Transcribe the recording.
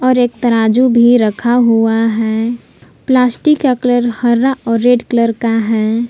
और एक तराजू भी रखा हुआ है प्लास्टिक का कलर हरा और रेड कलर का है।